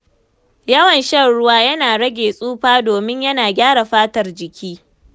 Yawan shan ruwa yana rage tsufa, domin yana gyara fatar jiki.